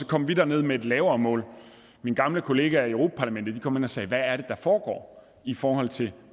kom vi derned med et lavere mål mine gamle kollegaer i europa parlamentet kom hen og sagde hvad er det der foregår i forhold til